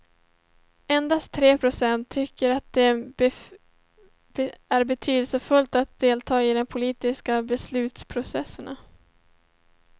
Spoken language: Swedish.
Endast tre procent tycker att det är betydelsefullt att delta i de politiska beslutsprocesserna.